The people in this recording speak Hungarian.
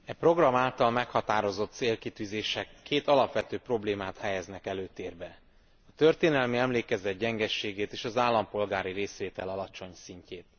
E program által meghatározott célkitűzések társadalmaink két alapvető problémáját helyezik előtérbe a történelmi emlékezet gyengeségét és az állampolgári részvétel alacsony szintjét.